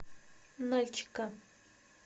нальчика